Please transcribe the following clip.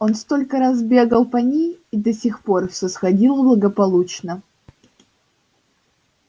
он столько раз бегал по ней и до сих пор все сходило благополучно